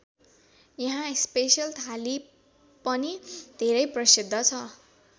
यहाँको स्पेशल थाली पनि धेरै प्रसिद्ध छ।